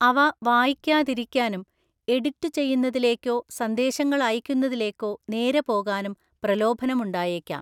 അവ വായിക്കാതിരിക്കാനും എഡിറ്റുചെയ്യുന്നതിലേക്കോ സന്ദേശങ്ങൾ അയക്കുന്നതിലേക്കോ നേരെ പോകാനും പ്രലോഭനമുണ്ടായേക്കാം.